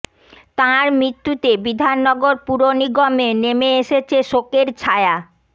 তাঁর মৃত্যুতে বিধাননগর পুর নিগমে নেমে এসেছে শোকের ছায়া